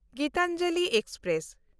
Gitanjali express